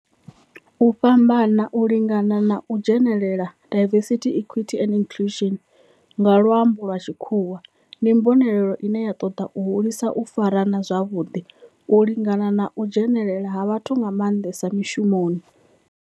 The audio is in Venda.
U fhambana, u lingana na u dzhenelela, diversity, equity and inclusion nga lwambo lwa tshikhuwa, ndi mbonelelo ine ya toda u hulisa u farana zwavhudi, u lingana na u dzhenelela ha vhathu nga mandesa mishumoni.